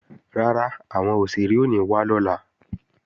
Rárá, àwọn òṣèré ò ní wá lọ́la